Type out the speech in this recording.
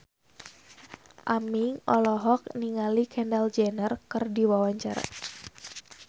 Aming olohok ningali Kendall Jenner keur diwawancara